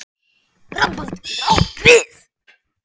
Rambald getur átt við